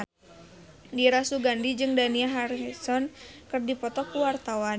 Dira Sugandi jeung Dani Harrison keur dipoto ku wartawan